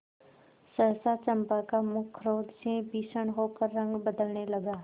सहसा चंपा का मुख क्रोध से भीषण होकर रंग बदलने लगा